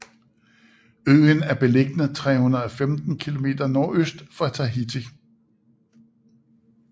Øen er beliggende 315 km nordøst for Tahiti